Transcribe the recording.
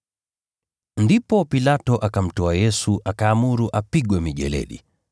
Ndipo Pilato akamtoa Yesu akaamuru apigwe mijeledi.